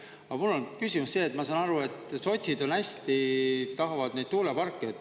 Aga mul on küsimus see, et ma saan aru, et sotsid hästi tahavad neid tuuleparke.